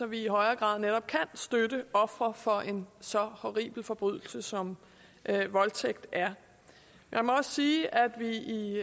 vi i højere grad netop kan støtte ofre for en så horribel forbrydelse som voldtægt er jeg må også sige at vi i